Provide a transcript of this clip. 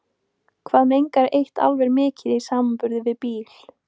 Hvað mengar eitt álver mikið í samanburði við bíl?